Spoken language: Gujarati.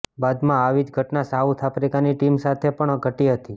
બાદમાં આવી જ ઘટના સાઉથ આફ્રિકાની ટીમ સાથે પણ ઘટી હતી